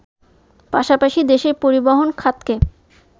পাশাপাশি দেশের পরিবহন খাতকে